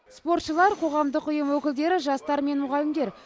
спортшылар қоғамдық ұйым өкілдері жастар мен мұғалімдер